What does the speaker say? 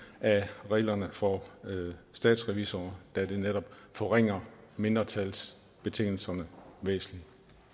af reglerne for statsrevisorer da det netop forringer mindretalsbetingelserne væsentligt